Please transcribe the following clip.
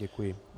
Děkuji.